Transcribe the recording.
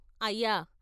అయ్యా "